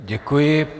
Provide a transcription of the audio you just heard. Děkuji.